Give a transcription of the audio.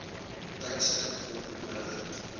tydstip hulp nodig